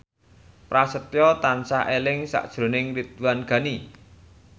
Prasetyo tansah eling sakjroning Ridwan Ghani